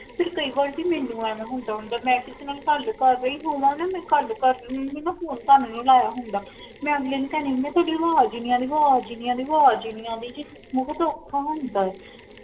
ਫੇਰ ਕਈ ਵਾਰ ਜੀ ਮੈਨੂ ਐਵੇ ਹੁੰਦਾ ਹੁੰਦਾ ਮੈ ਕਿਥੇ ਨਾ ਗਲ ਕਰ ਰਹੀ ਹੋਵਾ ਗਲ ਕਰਦੀ ਕਰਦੀ ਨਾ ਫੋਨ ਤੁਹਾਨੂ ਨੀ ਲਾਇਆ ਹੁੰਦਾ ਮੈ ਅਗਲੇ ਨੂੰ ਕੇਹਂਦੀ ਆ ਤੁਹਾਡੀ ਆਵਾਜਹੀ ਨੀ ਆਂਦੀ ਆਵਾਜ ਹੀ ਨੀ ਆਂਦੀ